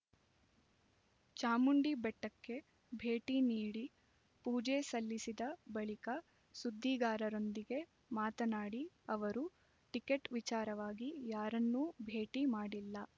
ಚಾಮುಂಡಿ ಬೆಟ್ಟಕ್ಕೆ ಭೇಟಿ ನೀಡಿ ಪೂಜೆ ಸಲ್ಲಿಸಿದ ಬಳಿಕ ಸುದ್ದಿಗಾರರೊಂದಿಗೆ ಮಾತನಾಡಿದ ಅವರು ಟಿಕೆಟ್ ವಿಚಾರವಾಗಿ ಯಾರನ್ನೂ ಭೇಟಿ ಮಾಡಿಲ್ಲ